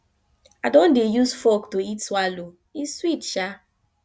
i don dey use fork to eat swallow e sweet sha